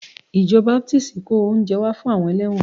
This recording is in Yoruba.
Ìjọ Baptist kó oúnjẹ wá fún àwọn ẹlẹ́wọ̀n